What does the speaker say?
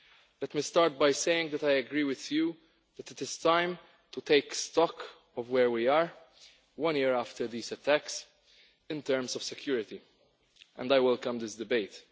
Let me start by saying that I agree with you that it is time to take stock of where we are one year after these attacks in terms of security, and I welcome this debate.